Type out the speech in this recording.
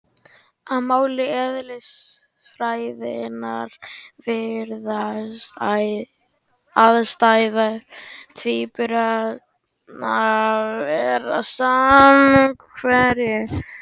Á máli eðlisfræðinnar virðast aðstæður tvíburanna vera samhverfar, því þeir upplifa alveg sömu hluti.